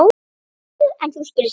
Níu, en þú? spurði Stjáni.